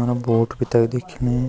आना भोत भी तख दिखेयी।